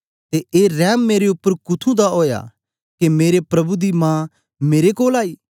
ते ए रैम मेरे उपर कुथुं दा ओया के मेरे प्रभु दी मां मेरे कोल आई